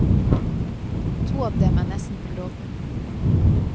To av dem er nesten på gråten.